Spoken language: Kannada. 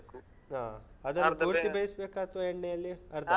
ಹ. ಪೂರ್ತಿ ಬೇಯಿಸ್ಬೇಕಾ ಅಥವಾ ಎಣ್ಣೆಯಲ್ಲಿ. ಅ ಅರ್ಧ?